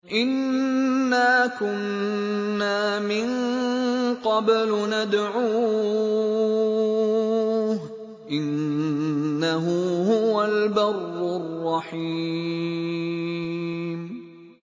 إِنَّا كُنَّا مِن قَبْلُ نَدْعُوهُ ۖ إِنَّهُ هُوَ الْبَرُّ الرَّحِيمُ